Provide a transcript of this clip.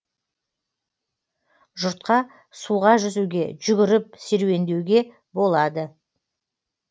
жұртқа суға жүзуге жүгіріп серуендеуге болады